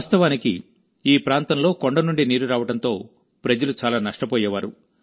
వాస్తవానికిఈ ప్రాంతంలోకొండ నుండి నీరు రావడంతో ప్రజలు చాలా నష్టపోయేవారు